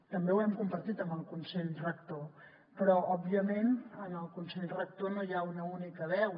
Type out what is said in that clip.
també ho hem compartit amb el consell rector però òbviament en el consell rector no hi ha una única veu